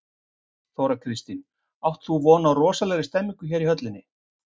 Þóra Kristín: Átt þú von á rosalegri stemningu hérna í höllinni?